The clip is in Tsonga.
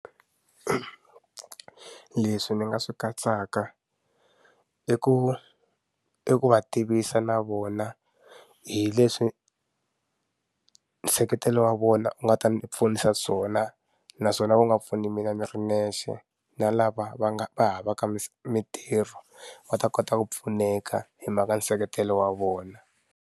Leswi ni nga swi katsaka i ku i ku va tivisa na vona hileswi nseketelo wa vona u nga ta ni pfunisa swona naswona u nga pfuni mina ni ri nexe na lava va nga va havaka mitirho va ta kota ku pfuneka hi mhaka nseketelo wa vona.